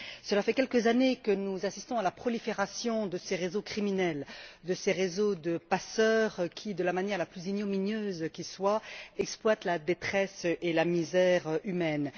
Cela fait quelques années que nous assistons à la prolifération de ces réseaux criminels, de ces réseaux de passeurs qui, de la manière la plus ignominieuse qui soit, exploitent la détresse et la misère humaines.